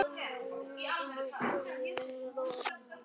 Á endanum leyfði ég honum að koma uppí til mín og þá róaðist hann fljótlega.